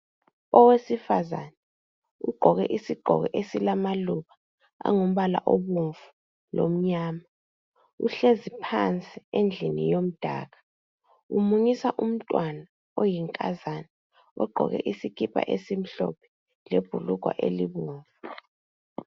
Owesifazane ugqoke isigqoko esilamaluba angumbala obomvu lomnyama uhlezi phansi endlini yomdaka umunyisa umntwana oyinkazana ogqoke isikipa esimhlophe lebhulugwa elibomvu.